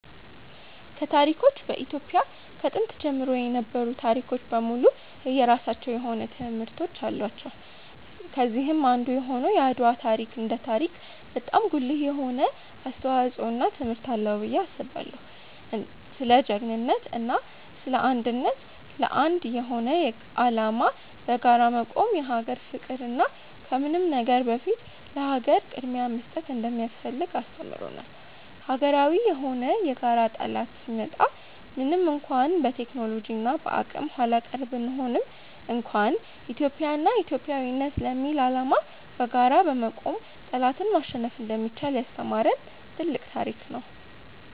ከታሪኮች በኢትዮጵያ ከጥንት ጀምሮ የነበሩ ታሪኮች በሙሉ የየራሳቸው የሆነ ትምህርቶች አላቸው። ከነዚህም አንዱ የሆነው የአድዋ ታሪክ እንደ ታሪክ በጣም ጉልህ የሆነ አስተዋጽዖ እና ትምህርት አለው ብዬ አስባለው። ስለ ጅግንነት እና ስለ አንድነት፣ ለአንድ የሆነ አላማ በጋራ መቆም፣ የሀገር ፍቅር እና ከምንም ነገር በፊት ለሀገር ቅድምያ መስጠት እንደሚያስፈልግ አስተምሮናል። ሀገራዊ የሆነ የጋራ ጠላት ሲመጣ ምንም እንኳን በቴክኖሎጂ እና በአቅም ኃላቀር ብንሆንም እንኳን ኢትዮጵያ እና ኢትዮጵያዊነት ለሚል አላማ በጋራ በመቆም ጠላትን ማሸነፍ እንደሚቻል ያስተማሪን ትልቅ ታሪክ ነው።